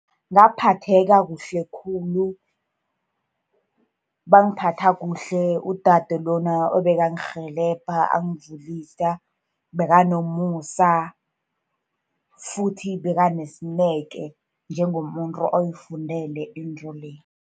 Ngaphatheka kuhle khulu, bangiphatha kuhle udade lona obekangirhelebha, angivulisa. Bekanomusa, futhi bekanesineke, njengomuntu oyifundele into le.